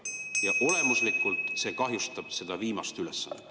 Ja olemuslikult see kahjustab seda viimast ülesannet.